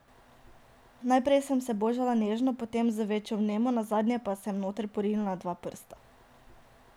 Najprej sem se božala nežno, potem z večjo vnemo, nazadnje pa sem noter porinila dva prsta.